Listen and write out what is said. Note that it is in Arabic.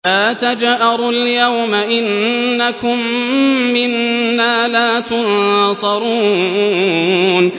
لَا تَجْأَرُوا الْيَوْمَ ۖ إِنَّكُم مِّنَّا لَا تُنصَرُونَ